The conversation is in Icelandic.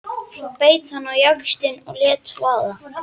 Svo beit hann á jaxlinn og lét vaða.